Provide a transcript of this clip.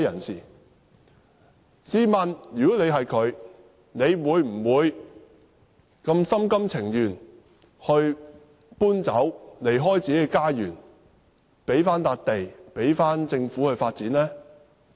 試問他們會否心甘情願遷離自己的家園，把土地交回政府發展？